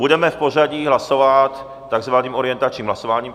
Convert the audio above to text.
Budeme v pořadí hlasovat takzvaným orientačním hlasováním.